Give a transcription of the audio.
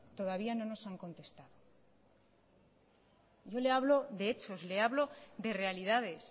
todavía no nos han contestado yo le hablo de hechos le hablo de realidades